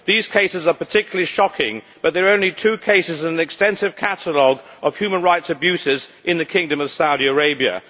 These cases are particularly shocking, but they are only two cases in an extensive catalogue of human rights abuses in the kingdom of Saudi Arabia.